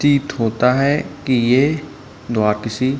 प्रतीत होता है की ये द्वार किसी --